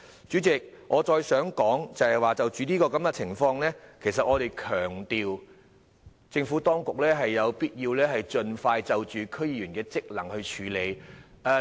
主席，我想再說的是，就着這情況，我們強調政府當局有必要盡快處理區議員的職能問題。